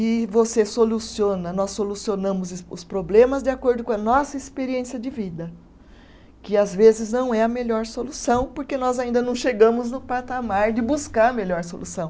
E você soluciona, nós solucionamos os problemas de acordo com a nossa experiência de vida, que às vezes não é a melhor solução, porque nós ainda não chegamos no patamar de buscar a melhor solução.